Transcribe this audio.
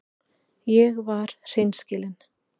Ég var hreinskilin.